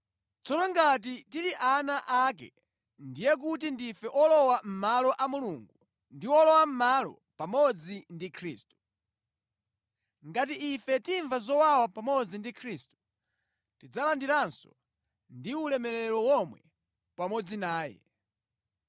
Tsono ngati tili ana ake, ndiye kuti ndife olowa mʼmalo a Mulungu ndi olowa mʼmalo pamodzi ndi Khristu. Ngati ife timva zowawa pamodzi ndi Khristu, tidzalandiranso ndi ulemerero womwe pamodzi naye.